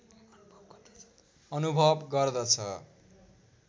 अनुभव गर्दछ